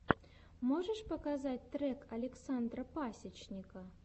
можешь показать трек александра пасечника